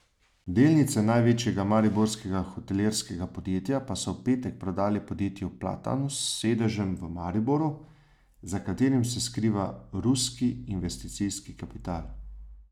Delnice največjega mariborskega hotelirskega podjetja so v petek prodali podjetju Platanus s sedežem v Mariboru, za katerim se skriva ruski investicijski kapital.